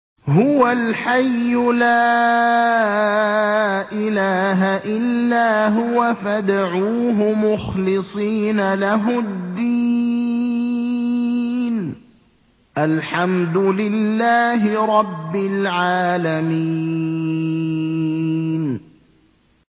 هُوَ الْحَيُّ لَا إِلَٰهَ إِلَّا هُوَ فَادْعُوهُ مُخْلِصِينَ لَهُ الدِّينَ ۗ الْحَمْدُ لِلَّهِ رَبِّ الْعَالَمِينَ